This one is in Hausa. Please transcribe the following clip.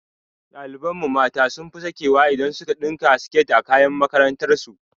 Ɗaliban mu mata sun fi sakewa idan su ka ɗinka siket a kayan makarantar su